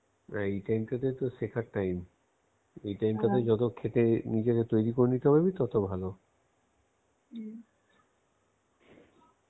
এই time টা তো শেখার time এই time টাতে খেটে নিজেকে তৈরী করে নিতে পারবি তত ভালো